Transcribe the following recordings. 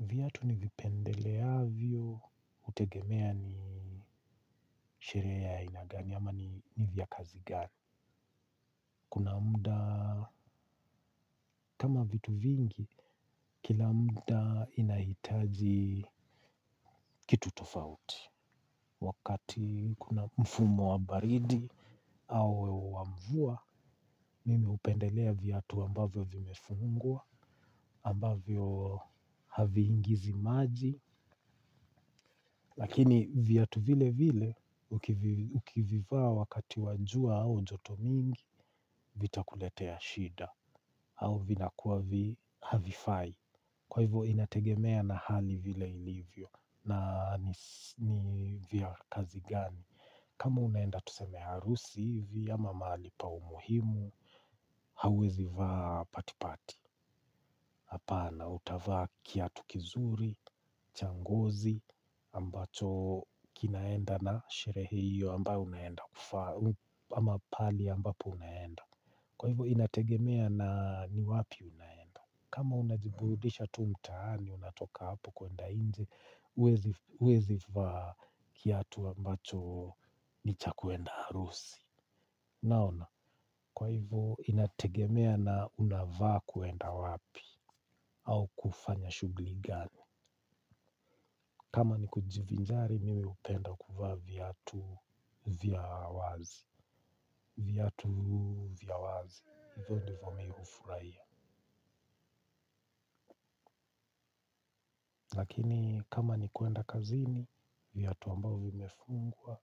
Viatu ni vipendeleavyo, hutegemea ni sherehe ya aina gani, ama ni vya kazi gani. Kuna muda, kama vitu vingi kila muda inahitaji kitu tofauti. Wakati kuna mfumo wa baridi, au wa mvua, mimi hupendelea viatu ambavyo vimefungua, ambavyo havi ingizi maji. Lakini viatu vile vile, ukivivaa wakati wa jua au joto mingi, vitakuletea shida. Au vinakuwa havifai. Kwa hivyo inategemea na hali vile ilivyo. Na ni vya kazi gani. Kama unaenda tusemea harusi hivi, ama mali pa muhimu, hauwezivaa patipati. Hapana, utavaa kiatu kizuri, changozi, ambacho kinaenda na sherehe hiyo ambayo unaenda kufanya, ama pahali ambapo unaenda. Kwa hivyo, inategemea na ni wapi unaenda. Kama unajiburudisha tu mtaani, unatoka hapo kuenda inje, huwezi vaa kiatu ambacho ni cha kuenda harusi. Naona, kwa hivyo inategemea na unavaa kuenda wapi au kufanya shughuli gani. Kama ni kujivinjari, mimi hupenda kuvaa viatu vya wazi. Viatu vya wazi, vyote mimi hufurahia. Lakini kama ni kuenda kazini, viatu ambavyo vimefungwa,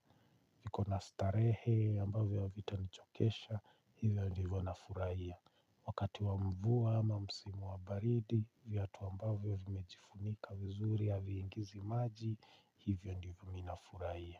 viko nastarehe, ambavyo havita nichokesha, hivyo ndivyo nafurahia. Wakati wa mvua ama msimu wa baridi viatu ambavyo vimejifunika vizuri haviingizi maji hivyo ndivyo mimi na furahia.